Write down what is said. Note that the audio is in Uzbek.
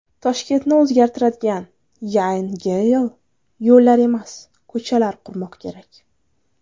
Toshkentni o‘zgartiradigan Yan Geyl: Yo‘llar emas, ko‘chalar qurmoq kerak .